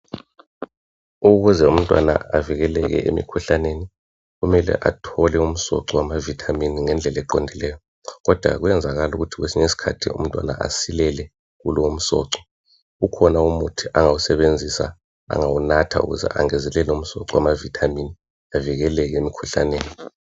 Ukuze umntwana avikeleke emikhuhlaneni kumele athole umsoco wama"vitamin" ngendlela eqondileyo kodwa kuyenzakala kwesinye isikhathi ukuthi umntwana asilele kulowo msoco. Kukhona umuthi angawusebenzisa, angawunatha ukuze angezelele umsoco wama"vitamin" ,avikeleke emikhuhlaneni.